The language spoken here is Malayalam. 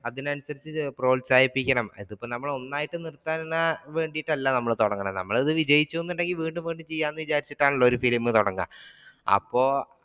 അതിനനുസരിച്ചു പ്രോത്സാഹിപ്പിക്കണം ഇത് ഇപ്പോ നമ്മൾ ഒന്നായിട്ട് നിർത്താൻ വേണ്ടിയിട്ടല്ല നമ്മൾ തുടങ്ങുന്നത്, നമ്മൾ ഇത് വിജയിക്കും എന്നുണ്ടെങ്കിൽ വീണ്ടും വീണ്ടും ചെയ്യാം എന്ന് വിചാരിച്ചിട്ടാണെല്ലോ ഒരു film തുടങ്ങൽ അപ്പൊ